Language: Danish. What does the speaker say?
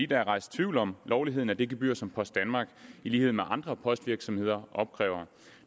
der er rejst tvivl om lovligheden af det gebyr som post danmark i lighed med andre postvirksomheder opkræver